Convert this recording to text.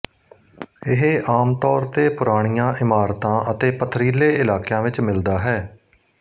ਇਹ ਆਮ ਤੌਰ ਤੇ ਪੁਰਾਣੀਆਂ ਇਮਾਰਤਾਂ ਅਤੇ ਪਥਰੀਲੇ ਇਲਾਕਿਆਂ ਵਿੱਚ ਮਿਲਦਾ ਹੈ